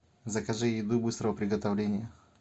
закажи еду быстрого приготовления